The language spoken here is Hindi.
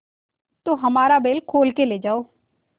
तो हमारा बैल खोल ले जाओ